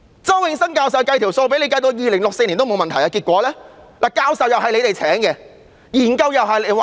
周永新教授已計算妥當，至2064年也不會出問題，但結果怎樣呢？